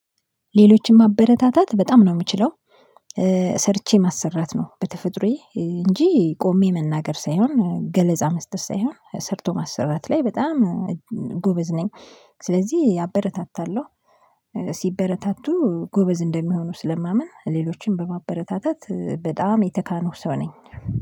ሌሎችን ማበረታታት በጣም ነው የምችለው። ሰርቼ ማሰራት ነው በተፈጥሮዬ እንጂ ቆሜ መናገር ሳይሆን ገለጻ መስጠት ሳይሆን ሰርቶ ማሰራት ላይ በጣም ጎበዝ ነኝ። ስለዚህ አበረታታለሁ ሲበረታቱ ጎበዝ እንደሚሆኑ ስለማምን። ሌሎችንም በማበረታታት በጣም የተካንኩ ሰው ነኝ።